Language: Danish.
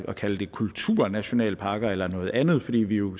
kalde det kulturnationalparker eller noget andet fordi vi jo